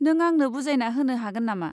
नों आंनो बुजायना होनो हागोन नामा?